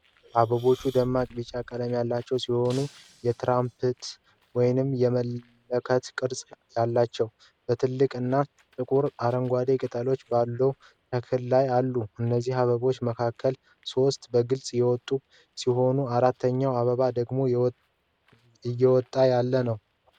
አበቦቹ ደማቅ ቢጫ ቀለም ያላቸው ሲሆን የትራምፕት ወይም የመለከት ቅርጽ አላቸው። በትላልቅ እና ጥቁር አረንጓዴ ቅጠሎች ባሉት ተክል ላይ አሉ። ከእነዚህ አበቦች መካከል ሦስቱ በግልጽ የወጡ ሲሆኑ አራተኛው አበብ ደግሞ እየወጣ ያለ ነው፡፡